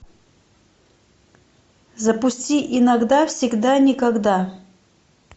запусти иногда всегда никогда